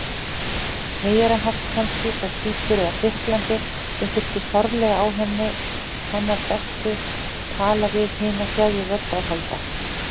Miðjarðarhafs kannski, frá Kýpur eða Grikklandi, sem þyrfti sárlega á hennar bestu tala-við-hina-þjáðu-rödd að halda.